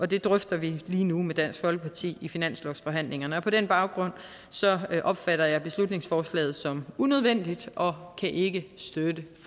det drøfter vi lige nu med dansk folkeparti i finanslovsforhandlingerne på den baggrund opfatter jeg beslutningsforslaget som unødvendigt og kan ikke støtte